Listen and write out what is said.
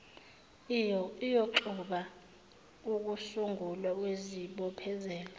iyoxuba ukusungulwa kwezibophezelo